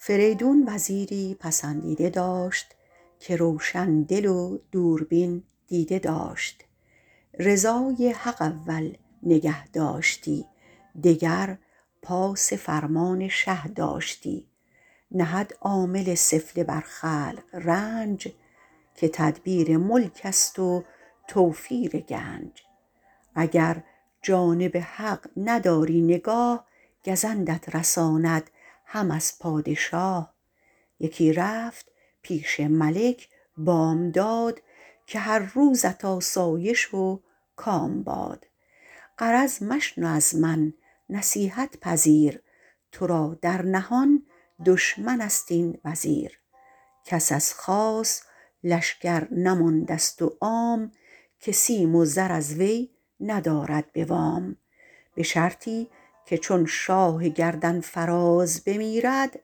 فریدون وزیری پسندیده داشت که روشن دل و دوربین دیده داشت رضای حق اول نگه داشتی دگر پاس فرمان شه داشتی نهد عامل سفله بر خلق رنج که تدبیر ملک است و توفیر گنج اگر جانب حق نداری نگاه گزندت رساند هم از پادشاه یکی رفت پیش ملک بامداد که هر روزت آسایش و کام باد غرض مشنو از من نصیحت پذیر تو را در نهان دشمن است این وزیر کس از خاص لشکر نمانده ست و عام که سیم و زر از وی ندارد به وام به شرطی که چون شاه گردن فراز بمیرد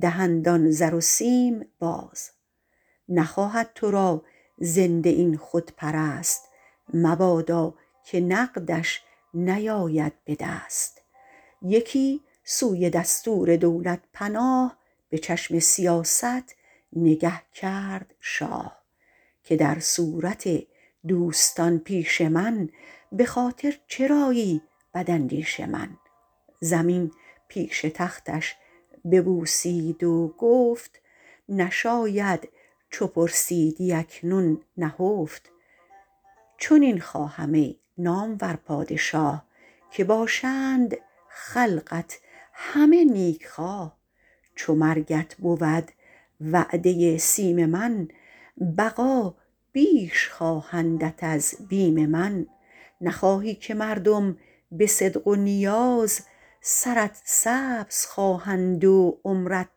دهند آن زر و سیم باز نخواهد تو را زنده این خودپرست مبادا که نقدش نیاید به دست یکی سوی دستور دولت پناه به چشم سیاست نگه کرد شاه که در صورت دوستان پیش من به خاطر چرایی بد اندیش من زمین پیش تختش ببوسید و گفت نشاید چو پرسیدی اکنون نهفت چنین خواهم ای نامور پادشاه که باشند خلقت همه نیک خواه چو مرگت بود وعده سیم من بقا بیش خواهندت از بیم من نخواهی که مردم به صدق و نیاز سرت سبز خواهند و عمرت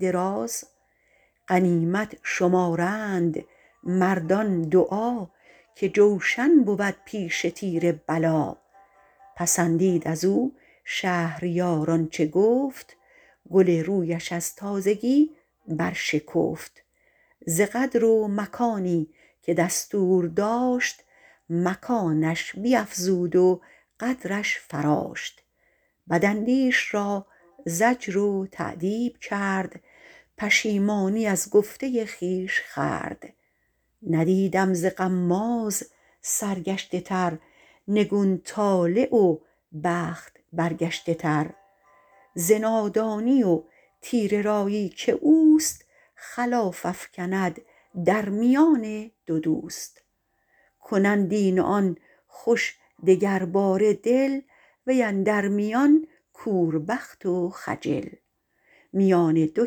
دراز غنیمت شمارند مردان دعا که جوشن بود پیش تیر بلا پسندید از او شهریار آنچه گفت گل رویش از تازگی برشکفت ز قدر و مکانی که دستور داشت مکانش بیفزود و قدرش فراشت بد اندیش را زجر و تأدیب کرد پشیمانی از گفته خویش خورد ندیدم ز غماز سرگشته تر نگون طالع و بخت برگشته تر ز نادانی و تیره رایی که اوست خلاف افکند در میان دو دوست کنند این و آن خوش دگر باره دل وی اندر میان کور بخت و خجل میان دو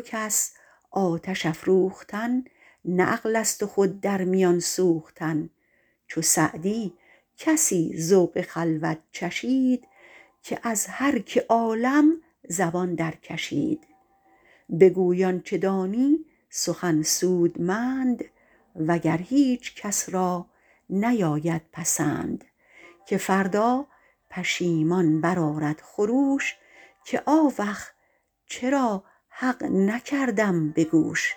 کس آتش افروختن نه عقل است و خود در میان سوختن چو سعدی کسی ذوق خلوت چشید که از هر که عالم زبان درکشید بگوی آنچه دانی سخن سودمند وگر هیچ کس را نیاید پسند که فردا پشیمان برآرد خروش که آوخ چرا حق نکردم به گوش